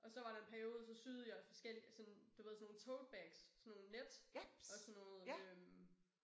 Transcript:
Og så var der en periode så syede jeg forskellige af sådan du ved sådan nogle Tote bags sådan nogle net og sådan noget øh